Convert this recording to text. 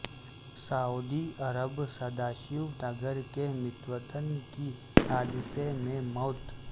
سعودی عرب سدا شیو نگر کے متوطن کی حادثہ میں موت